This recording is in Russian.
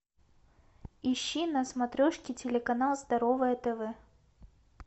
ищи на смотрешке телеканал здоровое тв